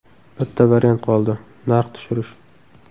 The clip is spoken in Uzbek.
Bitta variant qoldi – narx tushirish.